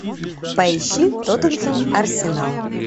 поищи тоттенхэм арсенал